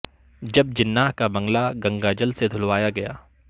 جب جناح کا بنگلہ گنگا جل سے دھلوایا گیا